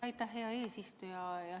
Aitäh, hea eesistuja!